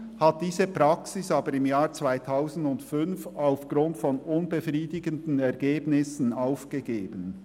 Im Jahr 2005 hat er diese Praxis aber aufgrund von unbefriedigenden Ergebnissen aufgegeben.